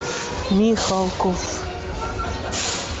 михалков